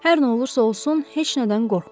Hər nə olursa olsun heç nədən qorxma.